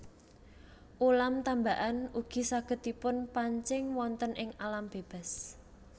Ulam tambakan ugi saged dipunpancing wonten ing alam bebas